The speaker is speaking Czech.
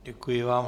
Děkuji vám.